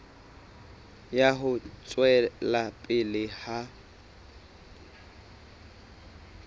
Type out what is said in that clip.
ya ho tswela pele ha